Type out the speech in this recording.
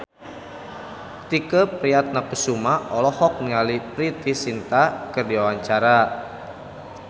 Tike Priatnakusuma olohok ningali Preity Zinta keur diwawancara